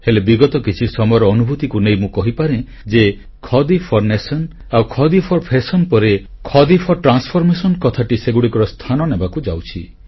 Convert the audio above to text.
ହେଲେ ବିଗତ କିଛି ସମୟର ଅନୁଭୂତିକୁ ନେଇ ମୁଁ କହିପାରେ ଯେ ଖାଡି ଫୋର ନ୍ୟାସନ ଆଉ ଖାଡି ଫୋର ଫ୍ୟାଶନ ପରେ ଏବେ ଖାଡି ଫୋର ଟ୍ରାନ୍ସଫରମେସନ କଥାଟି ସେଗୁଡ଼ିକର ସ୍ଥାନ ନେବାକୁ ଯାଉଛି